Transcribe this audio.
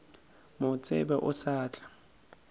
mo tsebe o sa tla